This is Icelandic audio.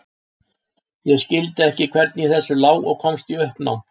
Ég skildi ekki hvernig í þessu lá og komst í uppnám.